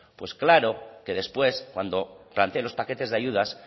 pues claro que después cuando plantee los paquetes de ayudas